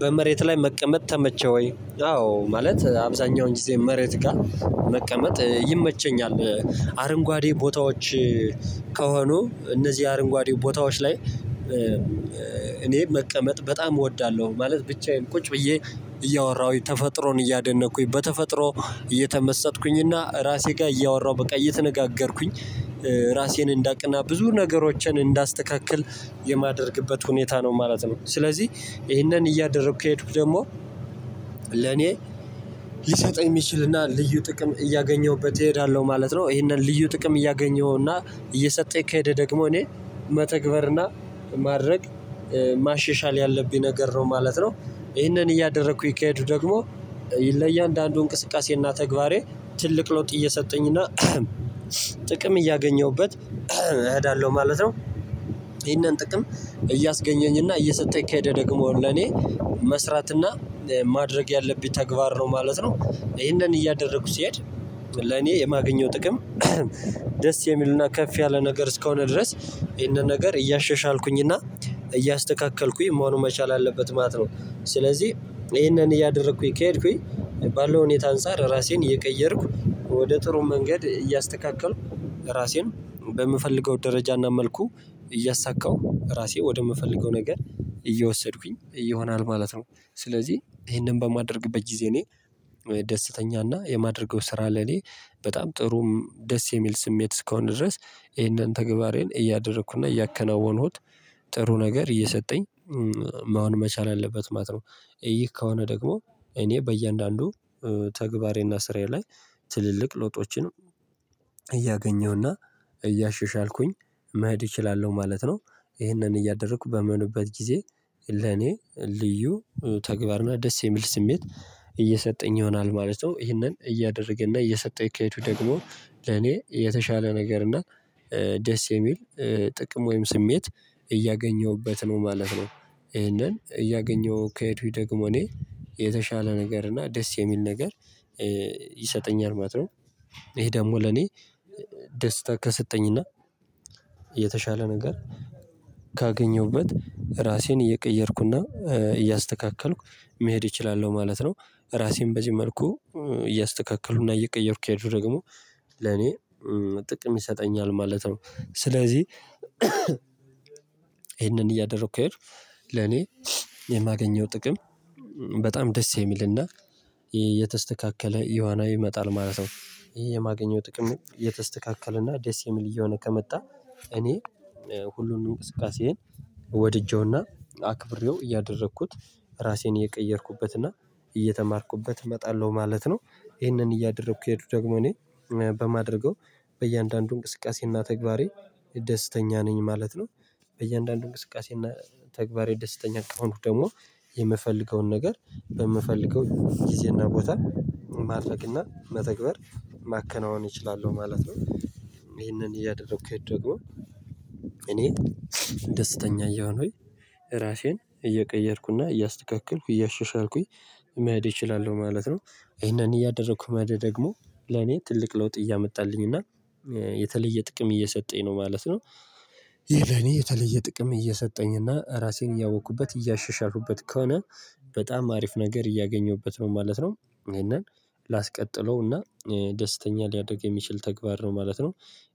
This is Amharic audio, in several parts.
በመሬት ላይ መቀመጥ ተመቸ ወይ? አዎ ማለት አብዛኛውን ጊዜ መሬት ጋር መቀመጥ ይመቸኛል። አረንጓዴ ቦታዎች። ከሆኑ እነዚህ አረንጓዴ ቦታዎች ላይ እኔ መቀመጥ በጣም እወዳለሁ ማለት ብቻዬን ቁጭ ብዬ እያወራሁኝ ተፈጥሮን እያደነኩኝ በተፈጥሮ እየተመሰጥኩኝና ራሴ ጋ እያወራሁ በቃ እየተነጋገርኩኝ ራሴን እንዳቅና ብዙ ነገሮችን እንዳስተካክል የማደርግበት ሁኔታ ነው ማለት ነው። ስለዚህ ይሄንን እያደረኩ ከሄድኩ ደግሞ ለኔ ሊሰጠኝ የሚችልና ልዩ ጥቅም እያገኘሁበት እሄዳለሁ ማለት ነው። ይሄንን ልዩ ጥቅም እያገኘሁ እና እየሰጠኝ ከሄደ ደግሞ እኔ መተግበርና ማድረግ ማሻሻል ያለብኝ ነገር ነው ማለት ነው። ይህንን እያደረኩኝ ከሄዱኩ ደግሞ ለእያንዳንዱ እንቅስቃሴና ተግባሬ ትልቅ ለውጥ እየሰጠኝና ጥቅም እያገኘሁበት እሄዳለሁ ማለት ነው። ይሄንን ጥቅም እያስገኘኝ እና እየሰጠኝ ከሄደ ደግሞ ለኔ መስራት እና ማድረግ ያለብኝ ተግባር ነው ማለት ነው። ይሄንን እያደረኩ ስሄድ ለኔ የማገኘው ጥቅም ደስ የሚልና ከፍ ያለ ነገር እስከሆነ ድረስ ይሄንን ነገር እያሻሻልኩኝና እያስተካከልኩኝ መሆኑን መቻል አለበት ማለት ነው። ስለዚህ ይህንን እያደረኩኝ ከሄድኩኝ ባለው ሁኔታ አንፃር ራሴን እየቀየርኩ ወደ ጥሩ መንገድ እያስተካከልኩ ራሴን በምፈልገው ደረጃና መልኩ እያሳካው ራሴ ወደምፈልገው ነገር እየወሰድኩኝ እየሆናል ማለት ነው። ስለዚህ ይሄንን በማደርግበት ጊዜ እኔ ደስተኛና የማደርገው ስራ ለኔ በጣም ጥሩም ደስ የሚል ስሜት እስከሆነ ድረስ ይሄንን ተግባሬን እያደረኩና እያከናወንሁት ጥሩ ነገር እየሰጠኝ መሆን መቻል አለበት ማለት ነው። ይህ ከሆነ ደግሞ እኔ በእያንዳንዱ ተግባሬና ስራዬ ላይ ትልልቅ ለውጦችን እያገኘሁና እያሸሻልኩኝ መሄድ እችላለሁ ማለት ነው። ይሄንን እያደረኩ በምሆንበት ጊዜ ለኔ ልዩ ተግባርና ደስ የሚል ስሜት እየሰጠኝ ይሆናል ማለት ነው። ይሄንን እያደረገ እና እየሰጠኝ ከሄዱኩ ደግሞ ለኔ የተሻለ ነገር እና ደስ የሚል ጥቅም ወይም ስሜት እያገኘሁበት ነው ማለት ነው። ይሄንን እያገኘሁ ከሄዱኝ ደግሞ እኔ የተሻለ ነገር እና ደስ የሚል ነገር ይሰጠኛል ማለት ነው። ይሄ ደግሞ ለኔ ደስታ ከሰጠኝና የተሻለ ነገር ካገኘሁበት ራሴን እየቀየርኩና እያስተካከልኩ መሄድ እችላለሁ ማለት ነው። ራሴን በዚህ መልኩ እያስተካከሉና እየቀየሩክ ከሄዱኩ ደግሞ ለኔ ጥቅም ይሰጠኛል ማለት ነው። ስለዚህ ይሄንን እያደረኩ ከሄድክ ለኔ የማገኘው ጥቅም በጣም ደስ የሚልና የተስተካከለ እየሆነ ይመጣል ማለት ነው። ይህ የማገኘው ጥቅሙ የተስተካከለና ደስ የሚል እየሆነ ከመጣ እኔ ሁሉንም እንቅስቀሴዬን ወድጄውና አክብሬው እያደረኩት ራሴን የቀየርኩበትና እየተማርኩበት እመጣለሁ ማለት ነው። ይሄንን እያደረኩ ከሄዱኩ ደግሞ እኔ በማድረገው በእያንዳንዱ እንቅስቃሴና ተግባሬ ደስተኛ ነኝ ማለት ነው። በእያንዳንዱ እንቅስቃሴና ተግባሬ ደስተኛ ከሆንኩ ደግሞ የምፈልገውን ነገር በምፈልገው ጊዜና ቦታ ማድረግ እና መተግበር ማከናወን እችላለሁ ማለት ነው። ይሄንን እያደረኩ ከሄድኩ ደግሞ እኔ ደስተኛ እያሆንኩኝ ራሴን እየቀየርኩና እያስተካከልኩ እያሻሻልኩኝ መሄድ እችላለሁ ማለት ነው። ይሄን እያደረኩ መሄድ ደግሞ ለኔ ትልቅ ለውጥ እያመጣልኝ እና የተለየ ጥቅም እየሰጠኝ ነው ማለት ነው። ይህ ለኔ የተለየ ጥቅም እየሰጠኝ እና ራሴን እያወቅኩበት እያሻሻልኩበት ከሆነ በጣም አሪፍ ነገር እያገኘሁበት ነው ማለት ነው። ይሄንን ላስቀጥለውና ደስተኛ ሊያደርግ የሚችል ተግባር ነው ማለት ነው።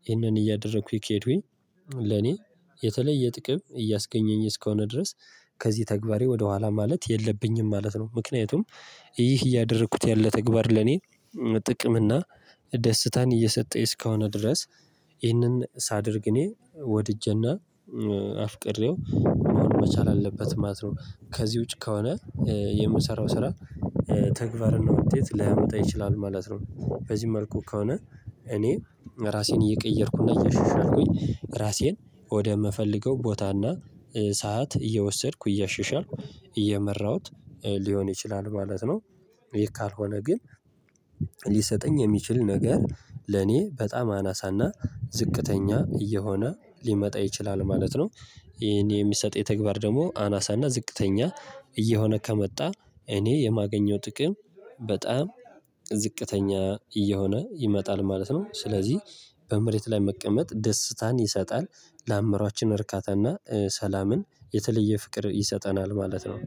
ይሄንን እያደረኩኝ ከሄዱኝ ለኔ የተለየ ጥቅም እያስገኘኝ እስከሆነ ድረስ ከዚህ ተግባሬ ወደኋላ ማለት የለብኝም ማለት ነው። ምክንያቱም ይህ እያደረኩት ያለ ተግባር ለኔ ጥቅም እና ደስታን እየሰጠኝ እስከሆነ ድረስ ይህንን ሳደርግ እኔ ወድጄና አፍቅሬው መሆን መቻል አለበት ማለት ነው። ከዚህ ውጪ ከሆነ የምሰራው ስራ ተግባርና ውጤት ላይመጣ ይችላል ማለት ነው። በዚህ መልኩ ከሆነ እኔ ራሴን እየቀየርኩና እየሻሻልኩኝ ራሴን ወደምፈልገው ቦታና ሰዓት እየወሰድኩ እያሸሻልኩ እየመራሁት ሊሆን ይችላል ማለት ነው። ይህ ካልሆነ ግን ሊሰጠኝ የሚችል ነገር ለኔ በጣም አናሳና ዝቅተኛ እየሆነ ሊመጣ ይችላል ማለት ነው። ይሄን የሚሰጠኝ ተግባር ደግሞ አናሳና ዝቅተኛ እየሆነ ከመጣ እኔ የማገኘው ጥቅም በጣም ዝቅተኛ እየሆነ ይመጣል ማለት ነው። ስለዚህ በመሬት ላይ መቀመጥ ደስታን ይሰጣል ለአምሮአችን እርካታና ሰላምን የተለየ ፍቅር ይሰጠናል ማለት ነው